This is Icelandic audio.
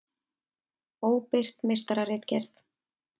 Óbirt meistararitgerð.